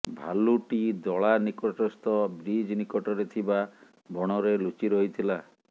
ଭାଲୁଟି ଦଳା ନିକଟସ୍ଥ ବ୍ରିଜ ନିକଟରେ ଥିବା ବଣରେ ଲୁଚିରହିଥିଲା